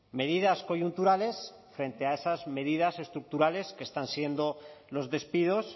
medidas coyunturales frente a esas medidas estructurales que están siendo los despidos